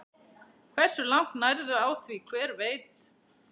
Hversu langt nærðu á því, hver veit?